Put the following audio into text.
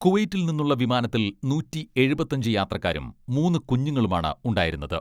കുവൈറ്റിൽ നിന്നുള്ള വിമാനത്തിൽ നൂറ്റി എഴുപത്തഞ്ച് യാത്രക്കാരും മൂന്ന് കുഞ്ഞുങ്ങളുമാണ് ഉണ്ടായിരുന്നത്.